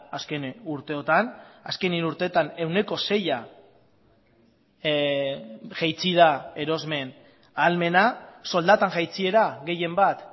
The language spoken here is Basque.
azken urteotan azken hiru urteetan ehuneko seia jaitsi da erosmen ahalmena soldaten jaitsiera gehienbat